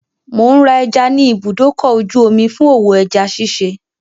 Mò ń ra ẹja ní ibùdókọ̀-ojú-omi fún òwò ẹja ṣiṣẹ́.